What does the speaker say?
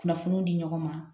Kunnafoniw di ɲɔgɔn ma